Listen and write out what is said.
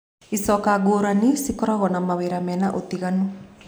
Icoka ngũrani cikoragwo na mawĩra mena ũtinganu.